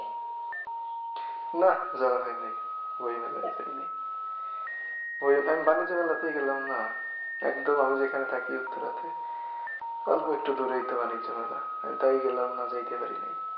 না যাওয়া হয়নায় বইমেলায় আমি বাণিজ্য মেলাতেই গেলাম না একদম আমি যেখানে থাকি উত্তরাতে অল্প একটু দূরেই তো বাণিজ্য মেলা আমি তাই গেলাম না যাইতে পারিনাই